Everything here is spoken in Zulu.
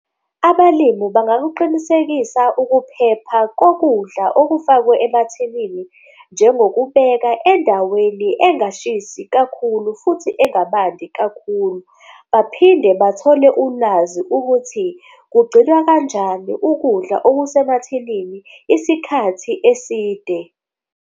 Abalimu bangakuqinisekisa ukuphepha kokudla okufakwe emathinini njengokubeka endaweni engashisi kakhulu, futhi engabandi kakhulu. Baphinde bathole ulwazi ukuthi kugcinwa kanjani ukudla okusemathinini isikhathi eside.